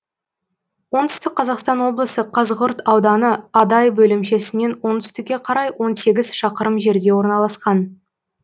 оңтүстік қазақстан облысы қазығұрт ауданы адай бөлімшесінен оңтүстікке қарай он сегіз шақырым жерде орналасқан